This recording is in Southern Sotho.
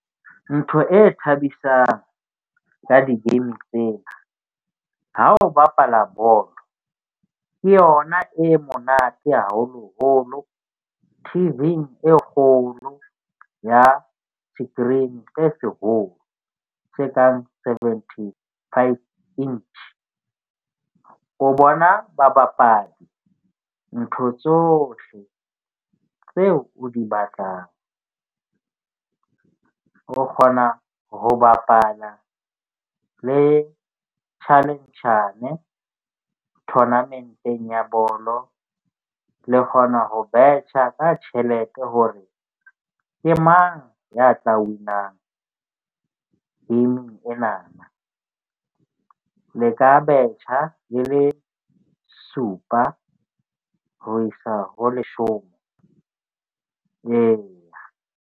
Ntho e thabisang ka di-game tsena ha o bapala bolo, ke yona e monate haholoholo T_V-ng e kgolo ya screen se seholo se kang seventy five inch. O bona babapadi, ntho tsohle tseo o di batlang o kgona ho bapala le challenge-njane tournament-eng ya bolo le kgona ho betjha ka tjhelete hore ke mang ya tla win-ang game-ng enana le ka betjha le le supa ho isa ho leshome, eya.